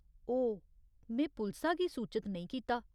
ओह्, में पुलसा गी सूचत नेईं कीता।